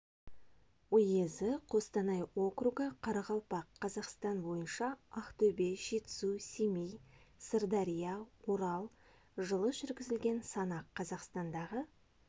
уезі қостанай округы қарақалпақ қазақстан бойынша ақтөбе жетісу семей сырдария орал жылы жүргізілген санақ қазақстандағы